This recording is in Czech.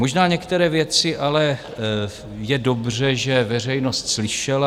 Možná některé věci je ale dobře, že veřejnost slyšela.